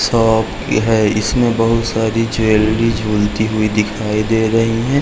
Shop है इसमें बहुत सारी ज्वेलरी झूलती हुई दिखाई दे रही है।